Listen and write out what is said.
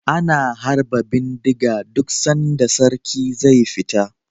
Ana harba bindiga duk sanda sarki ze fita